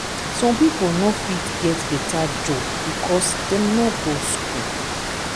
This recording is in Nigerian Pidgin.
some people no fit get beta job becos dem no go school